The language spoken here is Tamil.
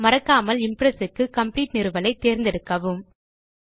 மறக்காமல் இம்ப்ரெஸ் க்கு காம்ப்ளீட் நிறுவலை தேர்ந்தெடுக்கவும்